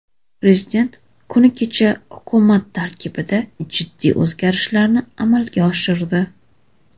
Prezident kuni kecha hukumat tarkibida jiddiy o‘zgarishlarni amalga oshirdi.